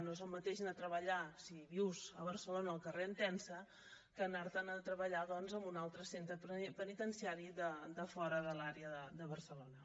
no és el mateix anar a treballar si vius a barcelona al carrer entença que anar te’n a treballar doncs a un altre centre penitenciari de fora de l’àrea de barcelona